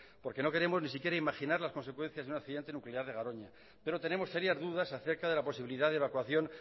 no queremos ni siquiera imaginar las consecuencias de un accidente nuclear en garoña pero tenemos serias dudas acerca de la posibilidad de evacuación